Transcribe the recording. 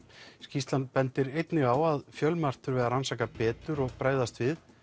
skýrslan bendir einnig á að fjölmargt þurfi að rannsaka betur og bregðast við